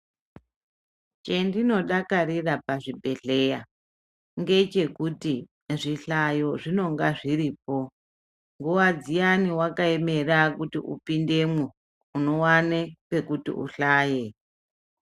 Chendinodakarira pazvibhedhleya ngechekuti zvihlayo zvinonga zviripo. Nguwa dziyani wakaemera kuti upindemwo unowane pekuti uhlaye.